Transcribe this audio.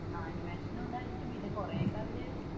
ആഹ് animation ഉണ്ടായിരിക്കും. പിന്നെ കുറേയൊക്കെ അവർ